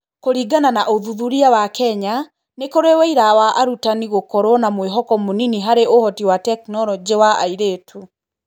Kũringana na ũthuthuria wa Kenya , nĩ kũrĩ ũira wa arutani gũkorũo na mwĩhoko mũnini harĩ ũhoti wa tekinoronjĩ wa airĩtu.